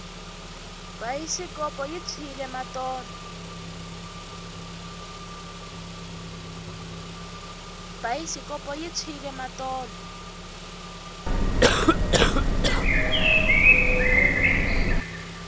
bayisikopo yi tshwile matolo